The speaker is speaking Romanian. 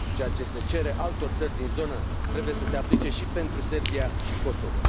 Ceea ce se cere altor țări din zonă trebuie să se aplice și pentru Serbia și Kosovo.